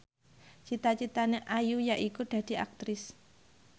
cita citane Ayu yaiku dadi Aktris